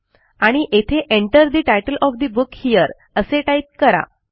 आणि येथे Enter the title of the book here असे टाईप करा